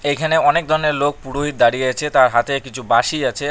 এখানে অনেক দরনের লোক পুরোহিত দাঁড়িয়ে আছে তার হাতে কিছু বাঁশি আছে।